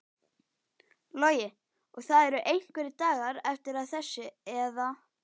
Logi: Og það eru einhverjir dagar eftir að þessu eða?